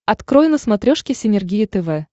открой на смотрешке синергия тв